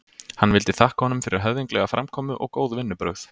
Hann vildi þakka honum fyrir höfðinglega framkomu og góð vinnubrögð.